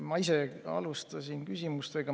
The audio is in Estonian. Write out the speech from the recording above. Ma ise alustasin küsimustega.